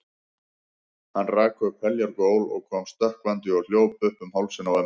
Hann rak upp heljar gól og kom stökkvandi og hljóp upp um hálsinn á ömmu.